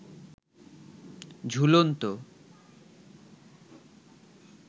ঝুলন্ত